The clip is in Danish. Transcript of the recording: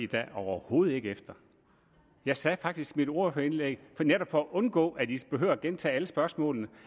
da overhovedet ikke efter jeg sagde faktisk i mit ordførerindlæg netop for at undgå at man behøver gentage alle spørgsmålene